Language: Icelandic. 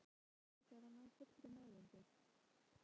Nautið virtist ekki hafa náð fullri meðvitund.